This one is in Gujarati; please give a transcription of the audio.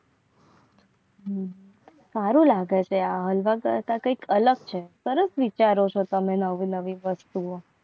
સારું લાગે છે કંઈક અલગ છે. સરસ વિચારો છો. તમે નવ નવી નવી વસ્તુઓ